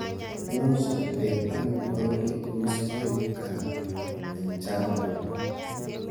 Muuch atep amitwogik Chetos iaip gaa eng chava